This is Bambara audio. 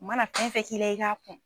U mana fɛn fɛ k'i la i ka kun